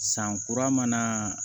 San kura mana